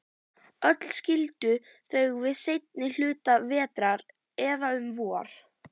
Öll skildu þau við seinni hluta vetrar, eða um vor.